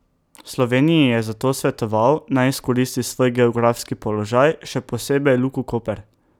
Sloveniji je zato svetoval, naj izkoristi svoj geografski položaj, še posebej Luko Koper.